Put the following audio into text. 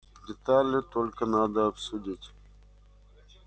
детали только надо обсудить